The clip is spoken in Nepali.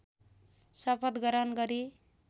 शपथ ग्रहण गरी